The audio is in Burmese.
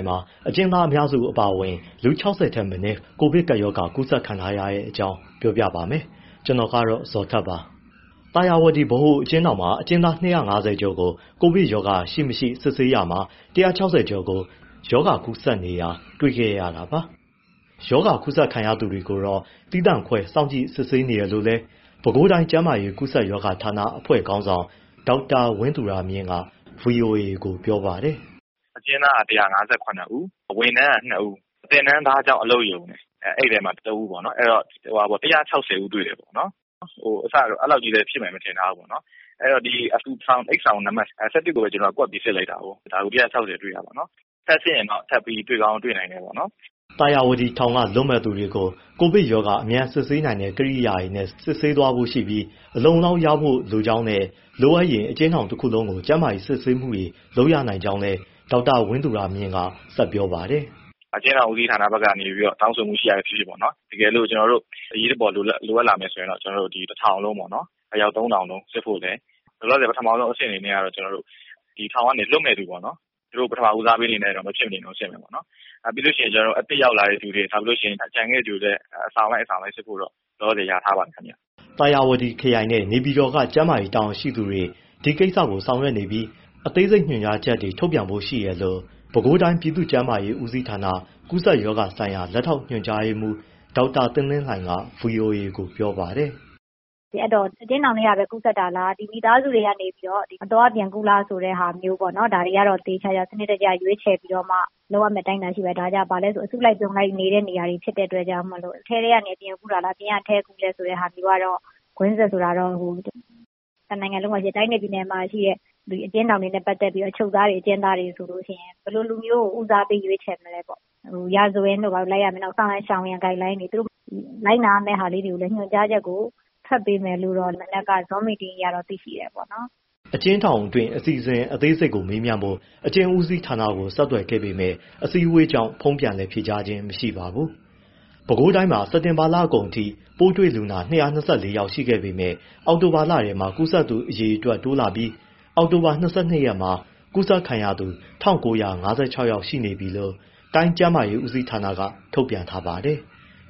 င်မှာ အကျဉ်းသားအများစု အပါအဝင် လူ ၁၆၀ ထက်မနည်း ကိုဗစ်ကပ်ရောဂါ ကူးစက်ခံထားရတဲ့အကြောင်းကို ဗွီအိုအေမြန်မာပိုင်း သတင်းထောက် ကိုဇော်ထက်က ပြောပြပေးပါမယ်။ သာယာဝတီ ဗဟိုအကျဉ်းထောင်မှာ အကျဉ်းသား ၂၅၀ ကျော်ကို ကိုဗစ်ကပ်ရောဂါ ရှိ၊ မရှိ စစ်ဆေးရာမှာ ၁၆၀ ကို ရောဂါကူးစက်နေတာ တွေ့ရှိခဲ့တာပါ။ ရောဂါကူးစက်ခံရသူတွေကိုတော့ သီးသန့်ခွဲ စောင့်ကြည့်စစ်ဆေးနေတယ်လို့လည်း ပဲခူးတိုင်းကျန်းမာရေး ကူးစက်ရောဂါဌာန အဖွဲ့ခေါင်းဆောင် ဒေါက်တာ ဝင်းသူရမြင့်က ဗွီအိုအေကို ပြောပါတယ်။ “အကျဉ်းသားက ၁၅၇ ဦး၊ ဝန်ထမ်းက ၂ ဦး၊ သင်တန်းသားကျောင်း အလုပ်ရုံ အဲဒီမှာ ၁ ဦး အဲဒီတော့ ၁၆၀ ဦးတွေ့တယ်ပေါ့နော်။ အစက အဲဒီလောက်ကြီး ဖြစ်မယ်လို့ မထင်ထားဘူးပေါ့။ အဲဒီတော့ ဒီအိပ်ဆောင်နံပတ် ၁၁ ကိုပဲ ကွက်ပြီး စစ်လိုက်တာ ၁၆၀ တွေ့တာပေါ့နော်။ ထပ်စစ်ရင်တော့ တွေ့ကောင်း တွေ့နိုင်တယ်ပေါ့နော်။” သာယာဝတီထောင်က လွတ်မယ့်သူတွေကို ကိုဗစ်ရောဂါ အမြန်စစ်ဆေးနိုင်တဲ့ ကိရိယာတွေနဲ့ စစ်ဆေးသွားဖို့ရှိပြီး အလုံအလောက် ရဖို့လိုကြောင်းနဲ့ လိုအပ်ရင် အကျဉ်းထောင်တခုလုံးကို ကျန်းမာရေး စစ်ဆေးမှုတွေ လုပ်ရနိုင်ကြောင်း ဒေါက်တာဝင်းသူရမြင့်က ဆက်ပြောပါတယ်။ “အကျဉ်းထောင်ဦးစီးဌာနဘက်က တောင်ဆိုမှုရှိတာပဲဖြစ်ဖြစ် တကယ်လို့ အရေးပေါ်လိုအပ်လာရင် ကျနော်တို့ တထောင်လုံး အယောက် ၃,၀၀၀ လုံးစစ်ဖို့နဲ့ လောလောဆယ် ပထမဦးဆုံးအဆင့်အနေနဲ့ ထောင်ကနေ လွတ်မယ့်သူ ပထမဦးစားပေးအနေနဲ့ စစ်မယ်ပေါ့နော်။ ပြီးလို့ရှိရင် အသစ်ရောက်လာတဲ့သူတွေ ကျန်ခဲ့တဲ့သူတွေကိုလည်း အဆောင်လိုက် အဆောင်လိုက် စစ်ဖို့တော့ လောလောဆယ် လျာထားပါတယ်။” သာယာဝတီခရိုင်နဲ့ နေပြည်တော်က ကျန်းမာရေးတာဝန်ရှိသူတွေ ဒီကိစ္စကို ဆောင်ရွက်နေပြီး အသေးစိတ်ညွှန်ကြားချက်တွေ ထုတ်ပြန်ဖို့ရှိတယ်လို့ ပဲခူးတိုင်း ပြည်သူ့ကျန်းမာရေးဦးစီးဌာန ကူးစက်ရောဂါဆိုင်ရာ လက်ထောက်ညွှန်ကြားရေးမှူး ဒေါက်တာသင်းသင်းလှိုင်က ဗွီအိုအေကို ပြောပါတယ်။ “အဲဒီတော့ အကျဉ်းထောင်ထဲကပဲ ကူးစက်တာလား၊ မိသားစုထဲကနေ အသွားအပြန် ကူးလားဆိုတဲ့ဟာကို ဒါတွေကို စနစ်တကျ လုပ်ရမယ့် အတိုင်းအတာ ရှိပါတယ်။ ဒါက အစုလိုက်အပြုံလိုက် နေတဲ့နေရာတွေဖြစ်လို့ အထဲကနေ အပြင်ကူးတာလား၊ အပြင်ကနေ အထဲကူးလား ဆိုတဲ့ဟာမျိုးကတော့ ကွင်းဆက် ဆိုတာမျိုးကတော့။ တနိုင်ငံလုံးမှာရှိတဲ့ တိုင်းနဲ့ ပြည်နယ်မှာရှိတဲ့ အကျဉ်းထောင်တွေနဲ့ ပတ်သက်ပြီး အချုပ်သားတွေ၊ အကျဉ်းသားတွေဆို ဘယ်လို လူမျိုးကို ဦးစားပေး ရွေးချယ်မလဲပေါ့ ရာဇဝင်ပဲလိုက်ရမလား၊ ဆောင်ရန် ရှောင်ရန် guideline တွေ၊ လိုက်နာရမယ့် ဟာမျိုးညွှန်ကြားချက်ကို ထွက်ပေးမယ်လို့တော့ မနက်က zoom meeting အရတော့ သိသေးတယ်ပေါ့နော်။” အကျဉ်းထောင်တွင်း အစီအစဉ်အသေးစိတ်ကို မေးမြန်းဖို့ အကျဉ်းဦးစီးဌာနကို ဆက်သွယ်ခဲ့ပေမဲ့ အစည်းအဝေးကြောင့် ဖုန်းပြန်လည်ဖြေကြားခြင်း မရှိပါဘူး။ ပဲခူးတိုင်းမှာ စက်တင်ဘာလကုန်ပိုင်းအထိ ပိုးတွေ့လူနာ ၂၂၄ ယောက်ရှိခဲ့ပေမဲ့ အောက်တိုဘာလထဲမှာ ကူးစက်သူအရေအတွက်တိုးလာပြီး အောက်တိုဘာ ၂၂ ရက်မှာ ကူးစက်ခံရသူ ၁,၉၅၆ ယောက်ရှိနေပြီလို့ တိုင်းကျန်းမာရေး ဦးစီးဌာနက ထုတ်ပြန်ထားပါတယ်။